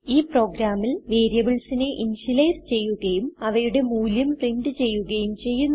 ഈ പ്രോഗ്രാമിൽ വേരിയബിൾസിനെ ഇന്ത്യലൈസ് ചെയ്യുകയും അവയുടെ മൂല്യം പ്രിന്റ് ചെയ്യുകയും ചെയ്യുന്നു